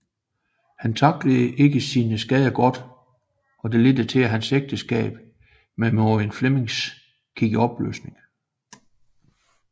Han tacklede ikke sine skader godt og det ledte til at hans ægteskab med Marion Flemming gik i opløsning